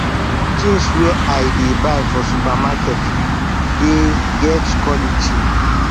tins wey i dey buy for supermarket dey get quality